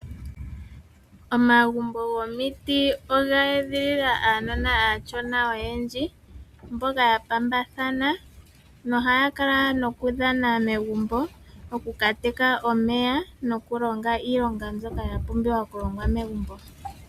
Omagumbo gomiti oga edhilila uunona uushona oyendji mboka wa pambathana nohaya kala noku dhana megumbo, oku kateka omeya noku longa iilonga mbyoka yapumbiwa megumbo.